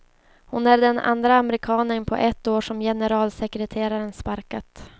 Hon är den andra amerikanen på ett år som generalsekreteraren sparkat.